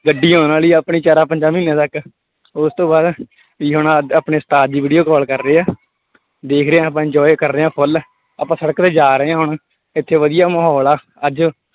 ਗੱਡੀ ਆਉਣ ਵਾਲੀ ਆਪਣੀ ਚਾਰਾਂ ਪੰਜਾਂ ਮਹੀਨਿਆਂ ਤੱਕ, ਉਸ ਤੋਂ ਬਾਅਦ ਵੀ ਹੁਣ ਆ ਆਪਣੇ ਉਸਤਾਦ ਜੀ video call ਕਰ ਰਹੇ ਹੈ ਦੇਖ ਰਹੇ ਹਾਂ ਆਪਾਂ enjoy ਕਰ ਰਹੇ ਹਾਂ full ਆਪਾਂ ਸੜਕ ਤੇ ਜਾ ਰਹੇ ਹਾਂ ਹੁਣ ਇੱਥੇ ਵਧੀਆ ਮਾਹੌਲ ਆ ਅੱਜ